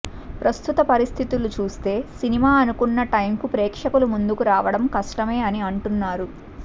ప్రస్తుత పరిస్థితులు చూస్తే సినిమా అనుకున్న టైం కు ప్రేక్షకుల ముందుకు రావడం కష్టమే అని అంటున్నారు